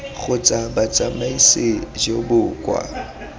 kgotsa botsamaisi jo bo kwa